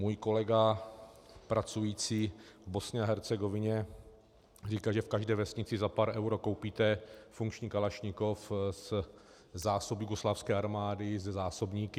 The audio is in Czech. Můj kolega pracující v Bosně a Hercegovině říká, že v každé vesnici za pár euro koupíte funkční kalašnikov ze zásob jugoslávské armády se zásobníky.